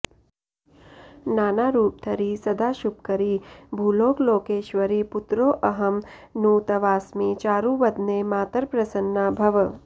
नानारुपधरी सदाशुभकरी भूलोकलोकेश्वरी पुत्रोऽहं नु तवास्मि चारुवदने मातर्प्रसन्ना भव